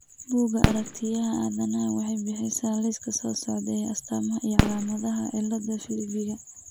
Bugga Aaragtiyaha Aanadaha waxay bixisaa liiska soo socda ee astamaha iyo calaamadaha cilada Filippiga.